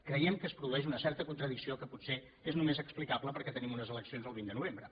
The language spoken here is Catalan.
creiem que es produeix una certa contradicció que potser és només explicable perquè tenim unes eleccions el vint de novembre